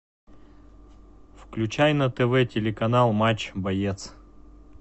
включай на тв телеканал матч боец